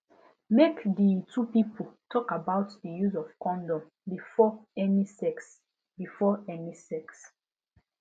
make the two people talk about the use of condom before any sex before any sex